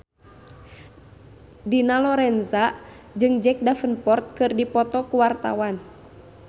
Dina Lorenza jeung Jack Davenport keur dipoto ku wartawan